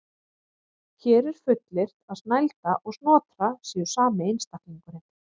Hér er fullyrt að Snælda og Snotra séu sami einstaklingurinn.